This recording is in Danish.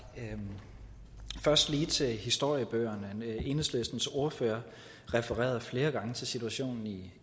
først lige til historiebøgerne enhedslistens ordfører refererede flere gange til situationen i